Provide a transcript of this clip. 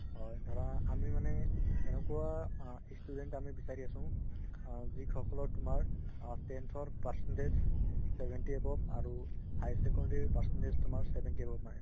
হয় ধৰা আমি মানে এনেকুৱা আ student আমি বিচাৰি আছো আ যিসকলৰ তুমাৰ tenth ৰ percentage seventy above আৰু higher secondary percentage seventy above মাৰে